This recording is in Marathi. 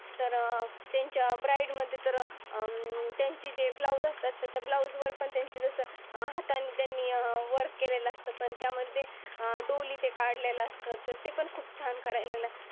तर त्यांच्या ब्राईटमध्ये त अं त्यांची जी ब्लाऊज असतात. त्यांच्या ब्लाऊज वर पण तसं हातांनी त्यांनी वर्क केलेला असतो. पण त्यामध्ये डोली ते कढलेल असत ते पण खूप छान करायला.